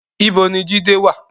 Ibo ni Jide wà?